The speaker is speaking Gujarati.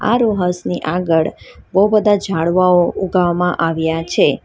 આ રો હાઉસ ની આગળ બહુ બધા ઝાડવાઓ ઉગાવવામાં આવ્યા છે.